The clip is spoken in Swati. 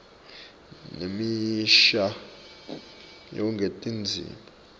nemisho yekungenisa tindzima